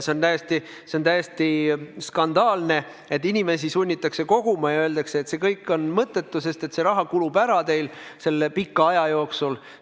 See on täiesti skandaalne, et inimesi sunnitakse koguma ja öeldakse samas, et see kõik on mõttetu, sest see raha kulub teil selle pika aja jooksul ära.